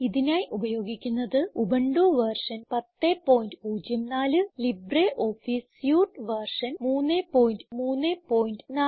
ഇതിനായി ഉപയോഗിക്കുന്നത് Ubuntu Linux version 1004 LibreOffice suite version 334